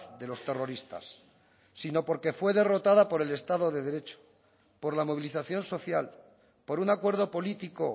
de los terroristas sino porque fue derrotada por el estado de derecho por la movilización social por un acuerdo político